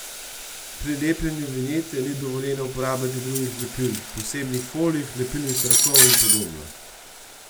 Pri lepljenju vinjete ni dovoljeno uporabljati drugih lepil, posebnih folij, lepilnih trakov in podobno.